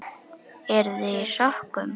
Eruð þið í sokkum?